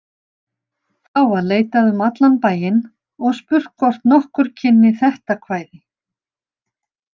Þá var leitað um allan bæinn og spurt hvort nokkur kynni þetta kvæði.